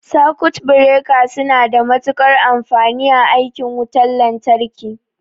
Sakut bireka suna da matuƙar amfani a aikin wutan lantarki.